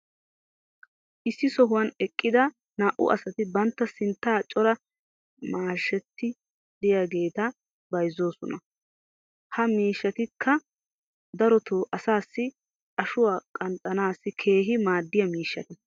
issi sohuwan eqqida naa'u asati bantta sinttan cora mashshati diyaageetta bayzzoosona. ha miishshatikka darotoo asaassi ashuwaa qanxxanaassi keehi maadiya miishshata.